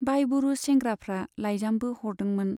बायबुरुस सेंग्राफ्रा लाइजामबो हरदोंमोन।